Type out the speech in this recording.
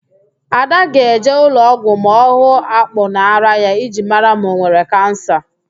Ada ga-eje ụlọọgwụ ma ọ hụ akpụ n'árá ya iji mara ma ọ nwere Kansa